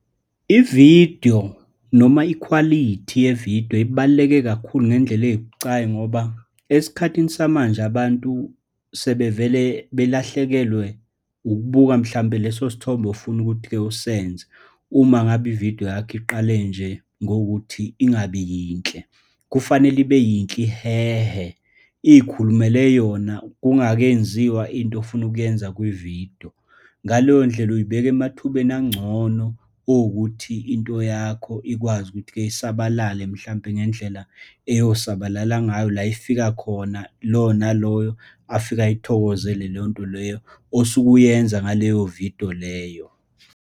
Ividiyo noma ikhwalithi yevidiyo ibaluleke kakhulu ngendlela ebucayi, ngoba esikhathini samanje abantu sebevele belahlekelwe ukubuka mhlampe, lesosithombe ofuna ukuthi-ke usenze, uma ngabe ividiyo yakho iqale nje ngokuthi ingabi yinhle. Kufanele ibe yinhle, ihehe, iy'khulumele yona kungakenziwa into ofuna ukuyenza kwividiyo. Ngaleyondlela uyibeka emathubeni angcono owukuthi into yakho ikwazi ukuthi-ke isabalale, mhlampe ngendlela eyosabalala ngayo, la ifika khona, lo naloyo afike ayithokozele leyo nto leyo osuke uyenza ngaleyo vidiyo leyo.